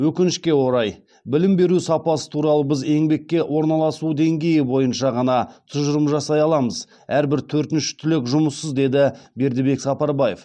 өкінішке орай білім беру сапасы туралы біз еңбекке орналасу деңгейі бойынша ғана тұжырым жасай аламыз әрбір төртінші түлек жұмыссыз деді бердібек сапарбаев